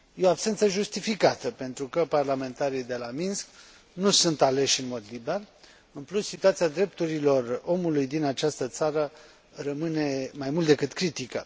Este o absență justificată, pentru că parlamentarii de la Minsk nu sunt aleși în mod liber, în plus, situația drepturilor omului din această țară rămâne mai mult decât critică.